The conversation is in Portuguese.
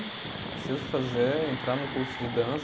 Preciso fazer, entrar num curso de dança.